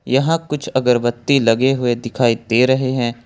यहां कुछ अगरबत्ती लगे हुए दिखाई दे रहे हैं।